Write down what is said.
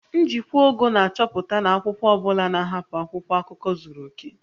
Njikwa ogo na-achọpụta na akwụkwọ ọ bụla na-ahapụ akwụkwọ akụkọ zuru oke